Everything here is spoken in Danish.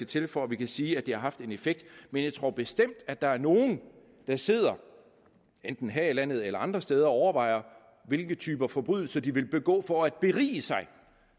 til for at vi kan sige at det har en effekt men jeg tror bestemt at der er nogle der sidder enten her i landet eller andre steder og overvejer hvilke typer forbrydelser de vil begå for at berige sig